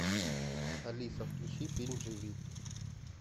алиса включи фильм живи